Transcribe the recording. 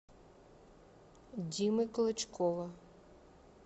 димы клочкова